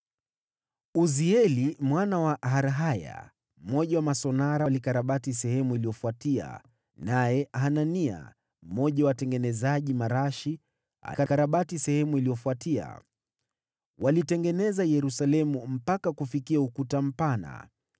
Uzieli mwana wa Harhaya, mmoja wa masonara, alikarabati sehemu iliyofuatia, naye Hanania mmoja wa watengenezaji marashi akakarabati sehemu iliyofuatia. Walitengeneza Yerusalemu mpaka kufikia Ukuta Mpana.